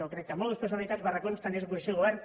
jo crec que mòduls prefabricats barracons tant és oposició o govern